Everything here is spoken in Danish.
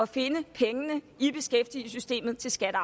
finde pengene i beskæftigelsessystemet til skatte